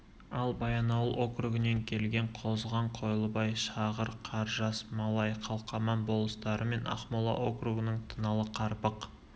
ал баянауыл округінен келген қозған қойлыбай шағыр қаржас малай қалқаман болыстары мен ақмола округінің тыналы қарпық